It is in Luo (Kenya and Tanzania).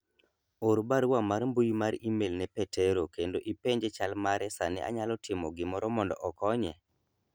or barua mar mbui mar email ne petero kendo ipenje chal mare sani anyalo timo gimoro mondo okonye